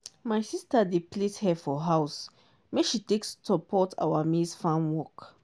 my sister dey plait hair for house make she take support our maize farm work.